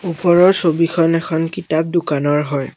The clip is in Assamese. ওপৰৰ ছবিখন এখন কিতাপ দোকানৰ হয়।